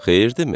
Xeyir dimi?